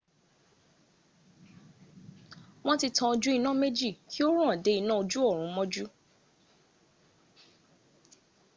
won ti tan oju ina meji ki o ran de ina oju orun moju